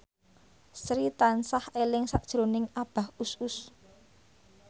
Sri tansah eling sakjroning Abah Us Us